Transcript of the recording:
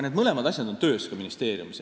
Need mõlemad asjad on töös ka ministeeriumis.